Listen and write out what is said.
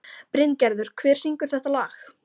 Bryngerður, hver syngur þetta lag?